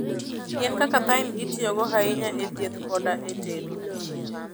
Yien kaka thyme, itiyogo ahinya e thieth koda e tedo.